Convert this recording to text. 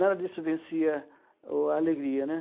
Nada disso vencia o a alegria, né.